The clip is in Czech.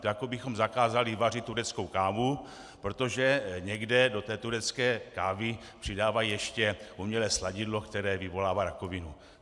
To je, jako bychom zakázali vařit tureckou kávu, protože někde do té turecké kávy přidávají ještě umělé sladidlo, které vyvolává rakovinu.